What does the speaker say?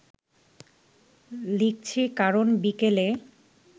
লিখছি, কারণ বিকেলে